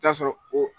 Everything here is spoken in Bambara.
Taa sɔrɔ o